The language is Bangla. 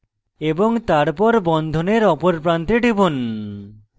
এবং তারপর বন্ধনের অপর প্রান্তে টিপুন